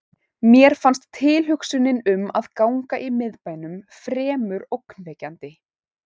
Mér fannst tilhugsunin um að ganga um í miðbænum fremur ógnvekjandi.